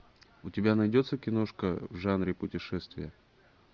у тебя найдется киношка в жанре путешествия